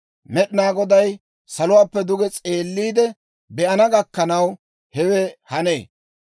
Med'inaa Goday saluwaappe duge s'eelliide be'ana gakkanaw hewe hanee.